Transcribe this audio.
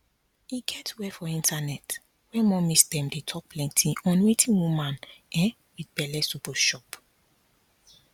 e get where for internet where mommies dem dey talk plenty on wetin woman um wit belle suppose chop